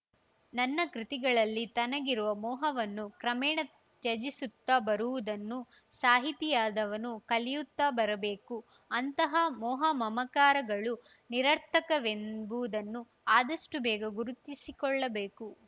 ತನ್ನ ಕೃತಿಗಳಲ್ಲಿ ತನಗಿರುವ ಮೋಹವನ್ನು ಕ್ರಮೇಣ ತ್ಯಜಿಸುತ್ತ ಬರುವುದನ್ನು ಸಾಹಿತಿಯಾದವನು ಕಲಿಯುತ್ತಾ ಬರಬೇಕು ಅಂತಹ ಮೋಹ ಮಮಕಾರಗಳು ನಿರರ್ಥಕವೆಂಬುದನ್ನು ಆದಷ್ಟುಬೇಗ ಗುರುತಿಸಿಕೊಳ್ಳಬೇಕು